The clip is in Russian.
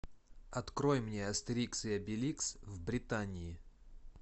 открой мне астерикс и обеликс в британии